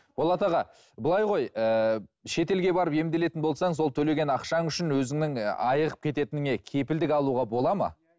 болат аға былай ғой ііі шетелге барып емделетін болсаң сол төлеген ақшаң үшін өзіңнің айығып кететініңе кепілдік алуға болады ма